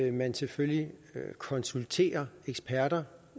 at man selvfølgelig konsulterer eksperter